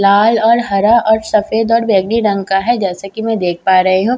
लाल और हरा और सफेद और बैंगनी रंग का है जैसे कि मैं देख पा रही हूं।